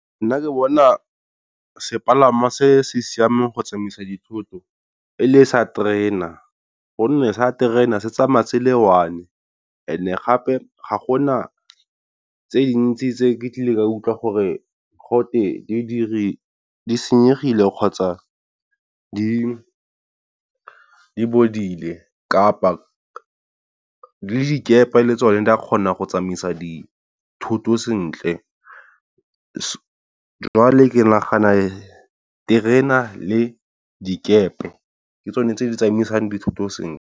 Nna ke bona sepalangwa se se siameng go tsamaisa dithoto e le sa terena gonne sa terena se tsamaya tsela e one, and gape ga gona tse dintsi tse ke ka utlwa gore gatwe di senyegile kgotsa di bodile. Kapa le dikepe le tsone di a kgona go tsamaisa dithoto sentle, jwale ke nagana terena le dikepe ke tsone tse di tsamaisang dithoto sentle.